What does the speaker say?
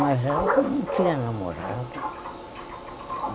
Mas eu não tinha namorado.